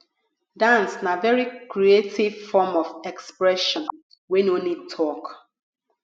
dance na very creative form of expression wey no need talk